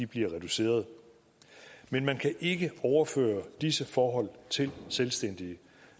bliver reduceret men man kan ikke overføre disse forhold til selvstændige